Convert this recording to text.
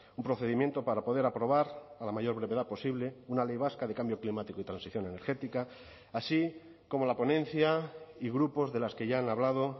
un procedimiento para poder aprobar a la mayor brevedad posible una ley vasca de cambio climático y transición energética así como la ponencia y grupos de las que ya han hablado